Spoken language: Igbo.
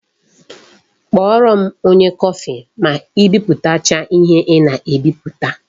Kpọrọ m onye kọfị ma I biputacha ihe ị na-ebiputa